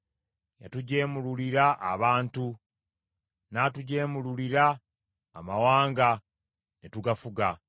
Yatujeemululira abantu, n’atujeemululira amawanga ne tugafuga.